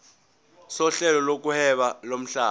sohlelo lokuhweba lomhlaba